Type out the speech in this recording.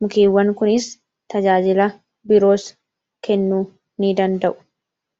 mukeewwan kunis tajaajila biroos kennuu ni danda'u